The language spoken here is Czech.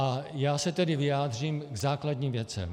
A já se tedy vyjádřím k základním věcem.